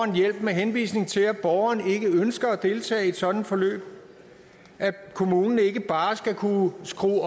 hjælp med henvisning til at borgeren ikke ønsker at deltage i et sådant forløb og at kommunen ikke bare skal kunne skrue